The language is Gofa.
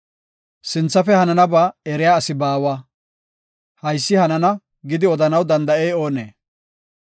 Sinthafe hananaba eriya asi baawa; “Haysi hanana” gidi odanaw danda7ey oonee?